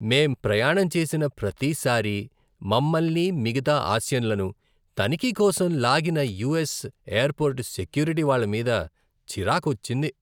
మేం ప్రయాణం చేసిన ప్రతిసారీ మమ్మల్ని, మిగతా ఆసియన్లను తనిఖీ కోసం లాగిన యుఎస్ ఎయిర్పోర్ట్ సెక్యూరిటీ వాళ్ళ మీద చిరాకొచ్చింది.